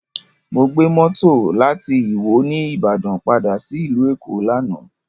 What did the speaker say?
Mo gbé mọ́tò láti ìwó ní Ìbàdàn padà sí ìlú Èkó lánàá